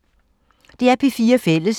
DR P4 Fælles